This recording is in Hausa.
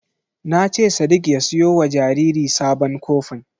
Na ce sadik ya siyo wa jariri sabon kofin.